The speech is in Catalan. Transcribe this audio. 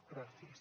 gràcies